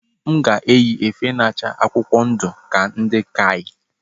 M ga-eyi efe na-acha akwụkwọ ndu ka ndi KAI